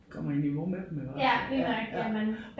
Kommer i niveau med dem iggå ja ja